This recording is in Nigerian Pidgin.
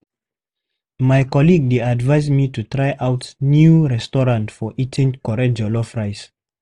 My colleague dey advise me to try out new restaurant for eating correct jollof rice.